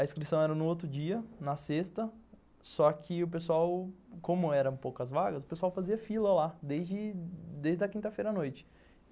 A inscrição era no outro dia, na sexta, só que o pessoal, como eram poucas vagas, o pessoal fazia fila lá, desde a quinta-feira à noite.